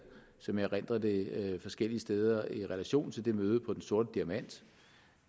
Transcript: som jeg erindrer det forskellige steder i relation til det møde på den sorte diamant